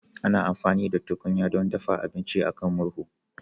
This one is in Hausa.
Ana amfani da tukunya don dafa abinci a kan murhu